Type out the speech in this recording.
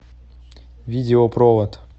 видео провод